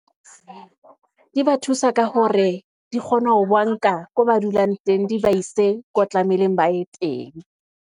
Di ba thusa ka hore di kgone ho ba nka ko ba dulang teng, di ba ise ko tlameileng ba ye teng.